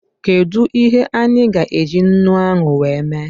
Kedụ ihe anyị gá eji ńnú ahụ wee mee?